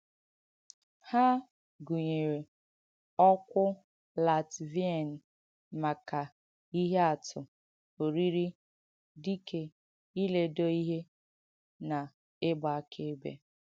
Ha gùnyèrē ọ̀kwụ Làtviàn maka “ihe àtù,” “ọrìrì,” “dìkè,” “ìlédọ ihe,” na “ìgbà àkàèbẹ.”